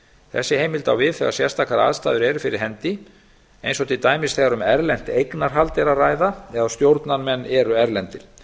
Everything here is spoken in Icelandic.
þessi heild á við þegar sérstakar aðstæður eru fyrir hendi eins og til dæmis þegar um erlent eignarhald er að ræða eða stjórnarmenn eru erlendir